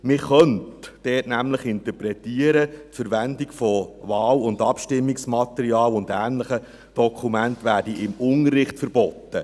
Man könnte dort nämlich interpretieren, die Verwendung von Wahl- und Abstimmungsmaterial und ähnlichen Dokumenten werde im Unterricht verboten.